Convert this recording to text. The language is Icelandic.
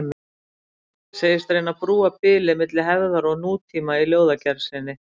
Segist reyna að brúa bilið milli hefðar og nútíma í ljóðagerð sinni.